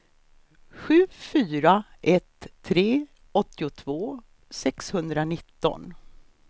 sju fyra ett tre åttiotvå sexhundranitton